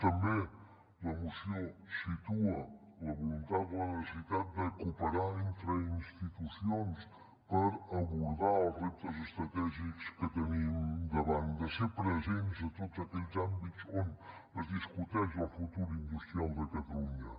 també la moció situa la voluntat la necessitat de cooperar entre institucions per abordar els reptes estratègics que tenim davant de ser presents a tots aquells àmbits on es discuteix el futur industrial de catalunya